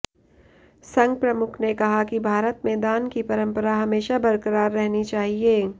संघ प्रमुख ने कहा कि भारत में दान की परंपरा हमेशा बरकरार रहनी चाहिए